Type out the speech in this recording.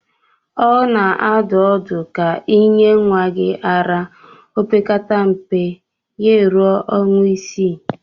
A na-adụ ọdụ ka ị nye nwa gị ara opekata mpe ya-eruo ọnwa isii.